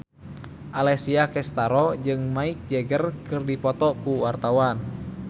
Alessia Cestaro jeung Mick Jagger keur dipoto ku wartawan